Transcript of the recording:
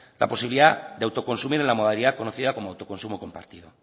la posibilidad de autoconsumir en la modalidad conocida como autoconsumo compartido